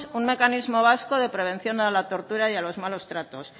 un mecanismo vasco de prevención a la tortura y a los malos tratos